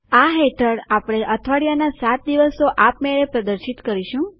આ હેઠળ આપણે અઠવાડિયાના સાત દિવસો આપમેળે પ્રદર્શિત કરીશું